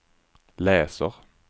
läser